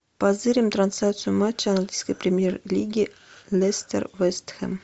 позырим трансляцию матча английской премьер лиги лестер вест хэм